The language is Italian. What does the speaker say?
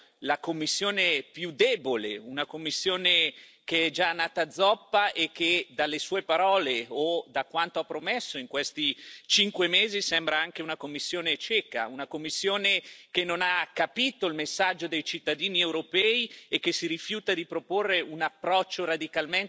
che è già nata zoppa e che, dalle sue parole o da quanto ha promesso in questi cinque mesi, sembra anche una Commissione cieca, una Commissione che non ha capito il messaggio dei cittadini europei e che si rifiuta di proporre un approccio radicalmente diverso su quelli che sono oggi i problemi dei nostri